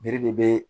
Bere de bɛ